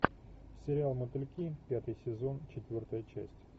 сериал мотыльки пятый сезон четвертая часть